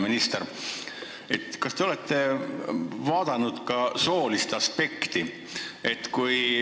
Hea minister, kas te olete arvestanud ka soolist aspekti?